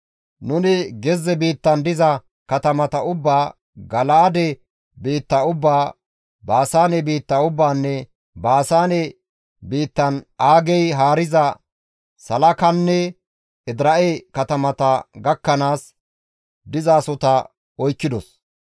Nuni gezze biittan diza katamata ubbaa, Gala7aade biitta ubbaa, Baasaane biitta ubbaanne Baasaane biittan Aagey haariza Salaakanne Edira7e katamata gakkanaas dizasohota oykkidos.